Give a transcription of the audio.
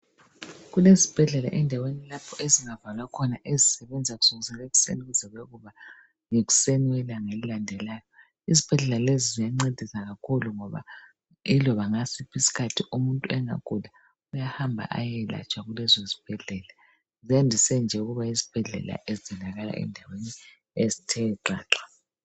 Kulesibhedlela endaweni lapho ezingavalwa khona ezisebenza kusukisela ekuseni kuze kuyekuba yikuseni yelanga elilandelayo . Izibhedlela lezi ziyancedisa kakhulu ngoba iloba ngasiphi isikhathi umuntu engagula uyahamba ayeyelatshwa kuleso sibhedlela .Ziyandise nje ukuba yizibhedlela ezitholakala endaweni ezithe gqagqa